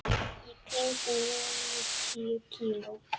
Í kringum níutíu kíló.